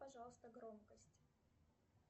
пожалуйста громкость